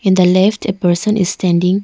the left a person is standing.